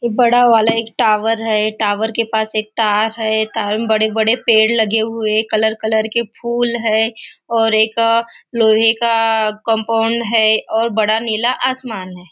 ए बड़ा वाला एक टावर है टावर के पास एक तार है तार में बड़े बड़े पेड़ लगे हुए कलर कलर के फूल हैं और एक लोहे का कंपाउंड है और बड़ा नीला आसमान है।